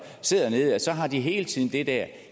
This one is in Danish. hele tiden har det